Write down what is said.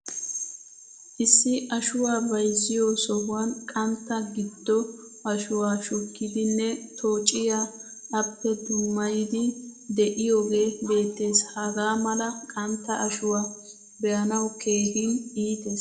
Issi ashuwaa bayzziyo sohuwan qantta giddo ashuwaa shukkidine tocciya appe dummayidi de'iyoge beettees. Hagaa mala qantta ashuwaa beanawu keehin iitees.